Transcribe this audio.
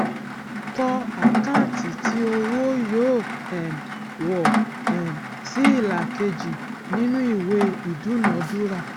kọ àkáǹtì tí owó yóò um wọ um sí ìlà kejì nínú ìwé ìdúnadúrà